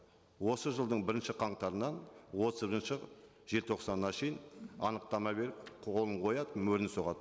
осы жылдың бірінші қаңтарынан желтоқсанға шейін анықтама беріп қолын қояды мөрін соғады